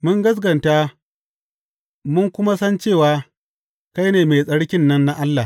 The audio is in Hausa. Mun gaskata mun kuma san cewa kai ne Mai Tsarkin nan na Allah.